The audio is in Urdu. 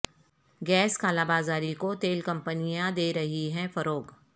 گیس کالابازاری کو تیل کمپنیاں دے رہی ہیں فروغ